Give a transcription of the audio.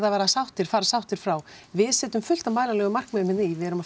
að fara sáttir fara sáttir frá við setjum fullt af mælanlegum markmiðum hérna í við erum